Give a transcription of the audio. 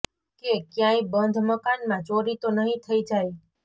કે ક્યાંય બંધ મકાનમાં ચોરી તો નહીં થઈ જાય